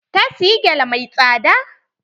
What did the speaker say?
Ta siyi gele mai tsada.